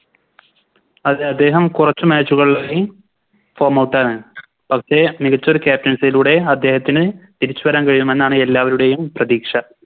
അതെ അദ്ദേഹം കൊറച്ച് Match കളായി Form out ആണ് പക്ഷെ മികച്ചൊരു Captaincy യിലൂടെ അദ്ദേഹത്തിന് തിരിച്ച് വരാൻ കഴിയുമെന്നാണ് എല്ലാവരുടെയും പ്രതീക്ഷ